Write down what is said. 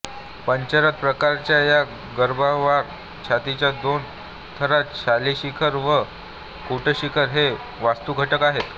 पंचरथ प्रकारच्या या गर्भगृहावर छताच्या दोन थरांत शालाशिखर व कूटशिखर हे वास्तुघटक आहेत